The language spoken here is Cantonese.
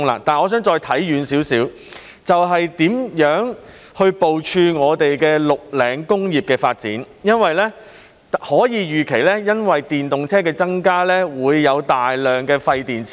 我想看遠一些，就是如何部署綠領工業的發展，因為我們可以預期，由於電動車增加，日後將會產生大量廢電池。